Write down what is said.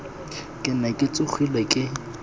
ke ne ke tshogile ke